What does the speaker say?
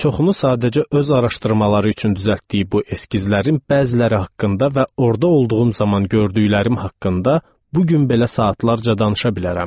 Çoxunu sadəcə öz araşdırmaları üçün düzəltdiyi bu eskizlərin bəziləri haqqında və orda olduğum zaman gördüklərim haqqında bu gün belə saatlarca danışa bilərəm.